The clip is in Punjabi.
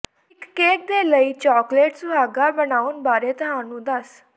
ਇੱਕ ਕੇਕ ਦੇ ਲਈ ਚਾਕਲੇਟ ਸੁਹਾਗਾ ਬਣਾਉਣ ਬਾਰੇ ਤੁਹਾਨੂੰ ਦੱਸ